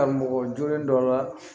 Ka mɔgɔ jogin dɔ la